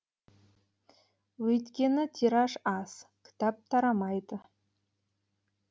өйткені тираж аз кітап тарамайды